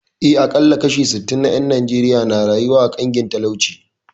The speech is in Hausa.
Eh, aƙalla kashi sittin na ƴan Najeriya na rayuwa a ƙangin talauci